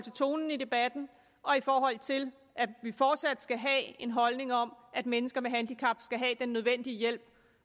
tonen i debatten og i forhold til at vi fortsat skal have en holdning om at mennesker med handicap skal have den nødvendige hjælp